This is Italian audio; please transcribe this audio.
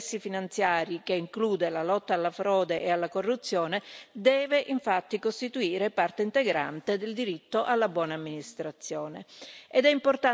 La tutela degli interessi finanziari, che include la lotta alla frode e alla corruzione, deve infatti costituire parte integrante del diritto alla buona amministrazione.